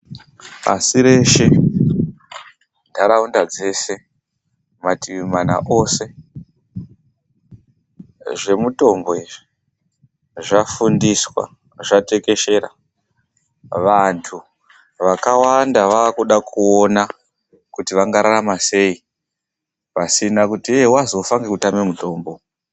Pasi reshe, nharaunda dzeshe, matiimana ose, zvemitombo izvi zvafundiswa zvatekeshera. Vantu vakawanda vaakuda kuona kuti vangararama sei pasina kuti yee wazofa ngekutame mutombo.